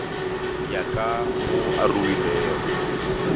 ya ka mo a ruwilego